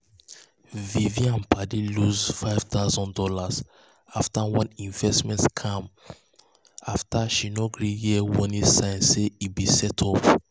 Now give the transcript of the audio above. vivian padi lose five thousand dollars for one investment scam after she no gree hear warning signs say e be setup. um